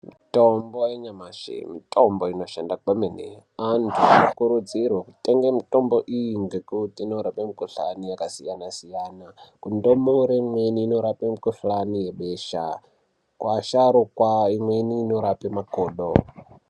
Mitombo yanyamashi mitombo inoshanda kwemene antu anokurudzirwa kutenge mitombo iyi ngekuti inorapa mukuhlani yakasiyana-siyana, kundumure imweni inorape mukuhlani yebesha kuasharukwa imweni inorape makodo.